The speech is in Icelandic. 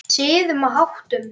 Siðum og háttum.